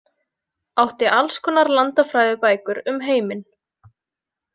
Átti alls konar landafræðibækur um heiminn.